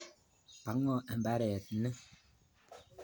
Pa ng'o imbaret ni?